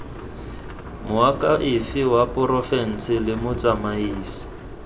moakhaefe wa porofense le motsamaisi